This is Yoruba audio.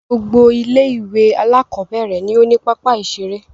Gbogbo ilé-ìwé alákọ̀ọ́bẹ̀rẹ̀ ni ó ní pápá-ìṣeré.